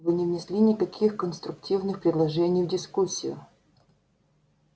вы не внесли никаких конструктивных предложений в дискуссию